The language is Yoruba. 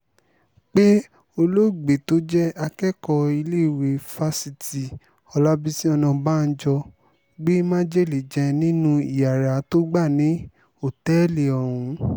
pé olóògbé tó jẹ́ akẹ́kọ̀ọ́ iléèwé fásitì ọlábísì ọ̀nàbànjọ gbé májèlé jẹ nínú iyàrá tó gbà ní òtẹ́ẹ̀lì ọ̀hún